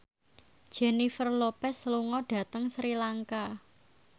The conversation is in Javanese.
Jennifer Lopez lunga dhateng Sri Lanka